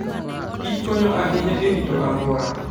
kichkonyo ahinya e rito alwora.